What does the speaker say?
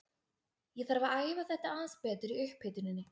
Ég þarf að æfa þetta aðeins betur í upphituninni.